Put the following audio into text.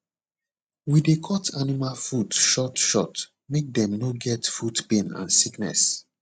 we dey cut animal foot short short make dem no get foot pain and sickness